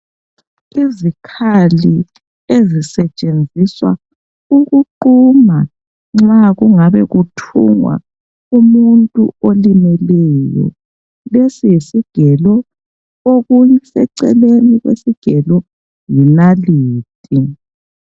Izikhali ezisetshenziswa ukuquma nxa kungabe kuthungwa umuntu olimeleyo, lesi yisigelo okuseceleni kwesigelo yinalithi.